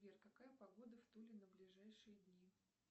сбер какая погода в туле на ближайшие дни